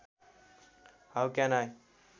how can I